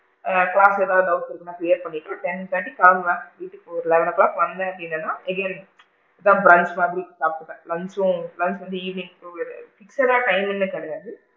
ஆ class ல ஏதாவது doubt இருந்தா clear பண்ணிட்டு ten ten கு கிளம்புனா வீட்டுக்கு ஒரு eleven o clock வந்தேன் அப்படினா again நான் brunch மாதிரி சாப்பிடுவேன் லஞ்ச்சும் லஞ்ச் வந்து evening fixed டா timing லா கிடையாது,